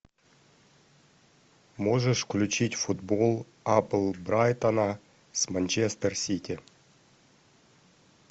можешь включить футбол апл брайтона с манчестер сити